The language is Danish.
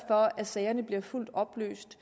for at sagerne bliver fuldt oplyst